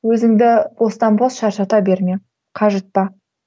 өзіңді бостан бос шаршата берме қажытпа